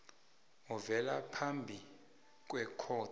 ovela phambi kwekhotho